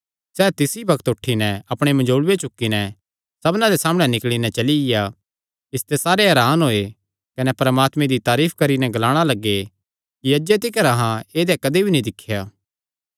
सैह़ तिसी बग्त उठी नैं अपणे मंजोल़ूये चुक्की नैं सबना दे सामणै ते निकल़ी नैं चलिया इसते सारे हरान होये कने परमात्मे दी तारीफ करी नैं ग्लाणा लग्गे अहां ऐदेया कदी नीं दिख्या